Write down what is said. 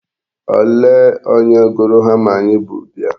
Olee onye gụrụ hama anyị bu bịa.